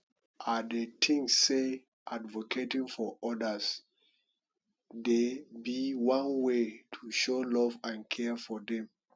i dey think say advocating for odas dey be one way to show love and care for dem